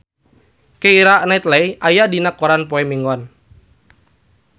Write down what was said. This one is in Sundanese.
Keira Knightley aya dina koran poe Minggon